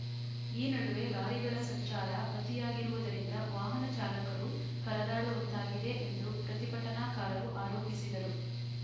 ಈ ನಡುವೆ ಲಾರಿಗಳ ಸಂಚಾರ ಅತಿಯಾಗಿರುವುದರಿಂದ ವಾಹನ ಚಾಲಕರು ಪರದಾಡುವಂತಾಗಿದೆ ಎಂದು ಪ್ರತಿಭಟನಾಕಾರರು ಆರೋಪಿಸಿದರು